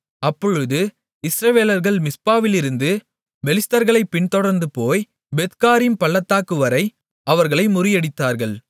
அப்பொழுது இஸ்ரவேலர்கள் மிஸ்பாவிலிருந்து பெலிஸ்தர்களைப் பின்தொடர்ந்துபோய் பெத்காரீம் பள்ளத்தாக்குவரை அவர்களை முறியடித்தார்கள்